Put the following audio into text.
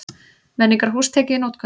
Menningarhús tekið í notkun